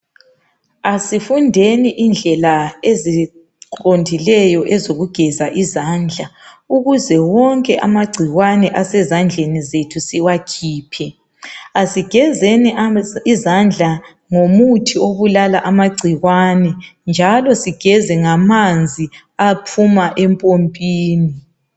Asifundeni indlela eziqondileyo ezokugezisa izandla ukuze wonke amagcikwane asezandlrni zethu siwakhiphe. Asigezeni izandla ngomuthi obulala amagcikwane njalo sigeze ngamanzi aphuma empompini.